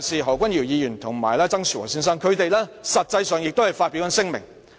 何君堯議員和曾樹和先生亦曾發表聲明。